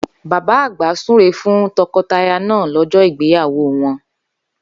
Bàbá àgbà súre fún to̩ko̩taya̩ náà ló̩jó̩ ìgbéyàwó won